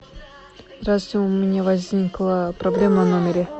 здравствуйте у меня возникла проблема в номере